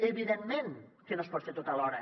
evidentment que no es pot fer tot alhora